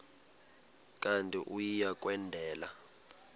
kanti uia kwendela